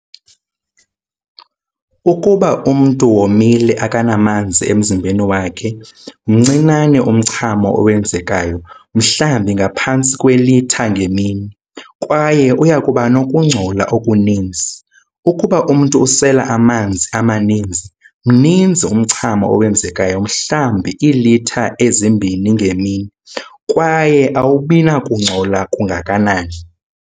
Ukuba umntu womile akanamanzi emzimbeni wakhe, mncinane umchamo owenzekayo, mhlawumbi ngaphantsi kwelitha ngemini, kwaye uyakubanokungcola okuninzi. Ukuba umntu usela amanzi amaninzi, mninzi umchamo owenzekayo, mhlawumbi iilitha ezi-2 ngemini, kwaye awubinakungcola kungakanani.